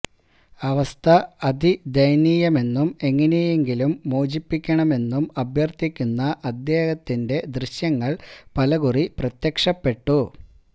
അവസ്ഥ അതിദയനീയമെന്നും എങ്ങനെയെങ്കിലും മോചിപ്പിക്കണമെന്നും അഭ്യര്ഥിക്കുന്ന അദ്ദേഹത്തിന്റെ ദൃശ്യങ്ങള് പലകുറി പ്രത്യക്ഷപ്പെട്ടു